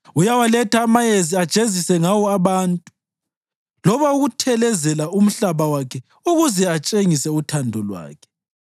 Uyawaletha amayezi ajezise ngawo abantu, loba ukuthelezela umhlaba wakhe ukuze atshengise uthando lwakhe.